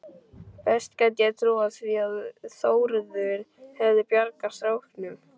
Best gæti ég trúað því að Þórður hefði bjargað stráknum.